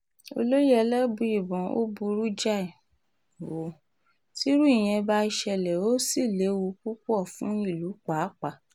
olóye elébùíbọn ó burú jáì um ó tírú ìyẹn bá ṣẹlẹ̀ ó sì léwu púpọ̀ um fún ìlú pàápàá